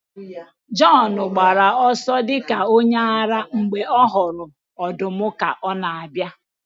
Jọn gbara ọsọ dị ka onye ara mgbe ọ hụrụ ọdụm ka ọ na-abịa